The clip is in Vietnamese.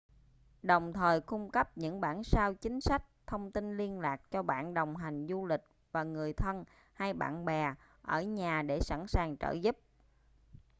đồng thời cung cấp những bản sao chính sách/thông tin liên lạc cho bạn đồng hành du lịch và người thân hay bạn bè ở nhà để sẵn sàng trợ giúp